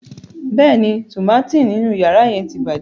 Bẹẹni, tùmátìn ninu ọra yẹn ti bàjẹ́.